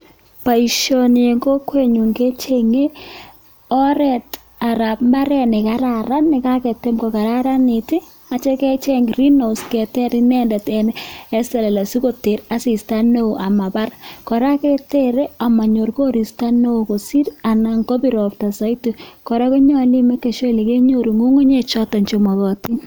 Boisioni eng kokwenyu kechenge oret anan imbaaret ne kararan nekaketem kokararanit nityo kecheng green house keter inendet eng selele sikoter asista neo amabar, kora, keterei amanyor koristo neo kosiir anan komapir ropta neo zaidi. Kora konyolu imekan sure kole kenyoru ngungunyek choto chemakatin.